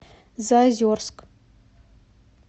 заозерск